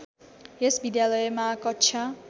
यस विद्यालयमा कक्षा